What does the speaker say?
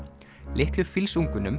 litlu